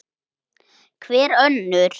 Hver önnur?